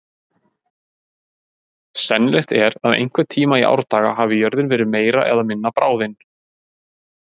Sennilegt er að einhvern tíma í árdaga hafi jörðin verið meira eða minna bráðin.